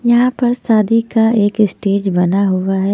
यहाँ पर शादी का एक स्टेज बना हुआ है।